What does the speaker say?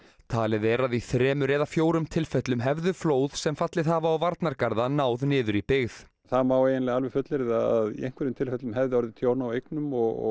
talið er að í þremur eða fjórum tilfellum hefðu flóð sem fallið hafa á varnargarða náð niður í byggð það má eiginlega alveg fullyrða að í einhverjum tilfellum hefði orðið tjón á eignum og